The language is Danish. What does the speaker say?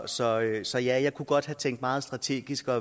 så så ja jeg kunne godt have tænkt meget strategisk og